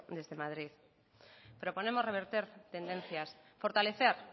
desde madrid proponemos revertir tendencias fortalecer